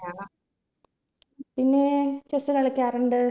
പിന്നെ chess കളിക്കാറുണ്ട്